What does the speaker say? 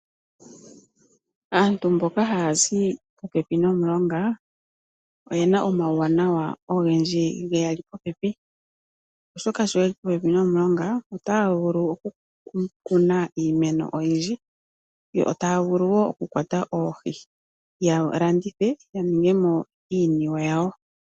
Aantu mboka haya zi popepi nomulonga oye na omawuwanawa ogendji geya li popepi, oshoka sho ye li popepi nomulonga ota ya vulu oku kuna iimeno oyindji yo ta ya vulu wo oku kwata oohi yalandithe yamone mo iiniwe yawo.